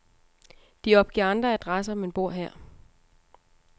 De opgiver andre adresser, men bor her.